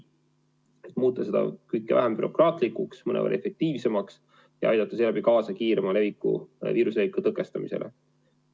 Tahame muuta seda kõike vähem bürokraatlikuks, mõnevõrra efektiivsemaks ja aidata seeläbi kaasa kiiremale viiruse leviku tõkestamisele.